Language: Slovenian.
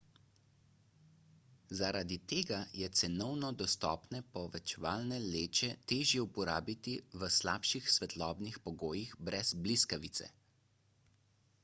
zaradi tega je cenovno dostopne povečevalne leče težje uporabiti v slabših svetlobnih pogojih brez bliskavice